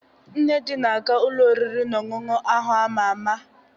Nnedi na-aga ụlọ oriri na ọṅụṅụ ahụ ama ama.